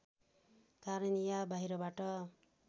कारण या बाहिरबाट